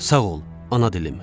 Sağ ol, ana dilim.